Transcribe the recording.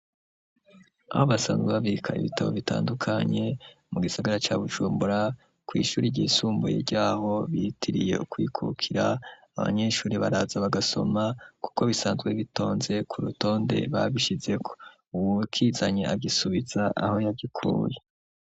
Aho basanzwe babika ibitabo bitandukanye mu gisagara ca bujumbura kw’ishuri ry'isumbuye ryaho bitiriye kwikukira ,abanyeshuri baraza bagasoma kuko bisanzwe bitonze ku rutonde babishizeko ,uwukizanye agisubiza aho yagikuye.